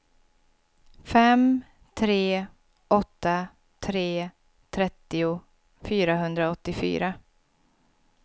fem tre åtta tre trettio fyrahundraåttiofyra